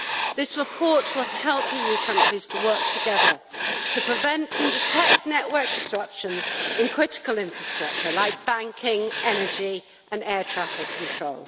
This report will help EU countries to work together to prevent and detect network disruptions in critical infrastructure like banking, energy and air traffic control.